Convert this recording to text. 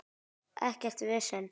Ekkert vesen.